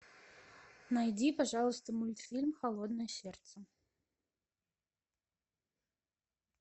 найди пожалуйста мультфильм холодное сердце